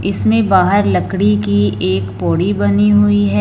इसमें बाहर लकड़ी कि एक पौड़ी बनी हुई हैं।